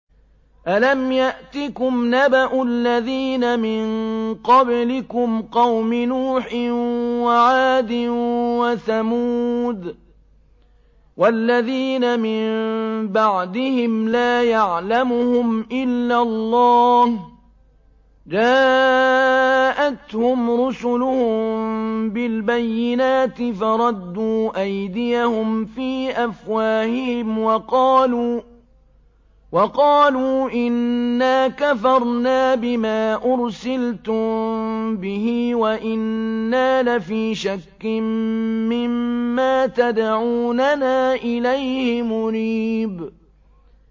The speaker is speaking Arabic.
أَلَمْ يَأْتِكُمْ نَبَأُ الَّذِينَ مِن قَبْلِكُمْ قَوْمِ نُوحٍ وَعَادٍ وَثَمُودَ ۛ وَالَّذِينَ مِن بَعْدِهِمْ ۛ لَا يَعْلَمُهُمْ إِلَّا اللَّهُ ۚ جَاءَتْهُمْ رُسُلُهُم بِالْبَيِّنَاتِ فَرَدُّوا أَيْدِيَهُمْ فِي أَفْوَاهِهِمْ وَقَالُوا إِنَّا كَفَرْنَا بِمَا أُرْسِلْتُم بِهِ وَإِنَّا لَفِي شَكٍّ مِّمَّا تَدْعُونَنَا إِلَيْهِ مُرِيبٍ